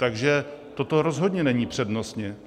Takže toto rozhodně není přednostně.